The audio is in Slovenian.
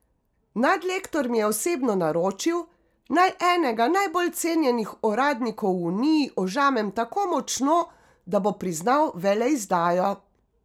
Nadlektor mi je osebno naročil, naj enega najbolj cenjenih uradnikov v Uniji ožamem tako močno, da bo priznal veleizdajo.